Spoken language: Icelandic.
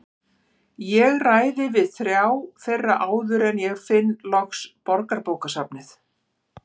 Ég ræði við þrjá þeirra áður en ég finn loks Borgarbókasafnið.